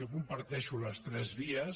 jo comparteixo totes tres vies